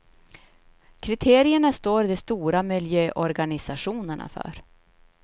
Kriterierna står de stora miljöorganisationerna för.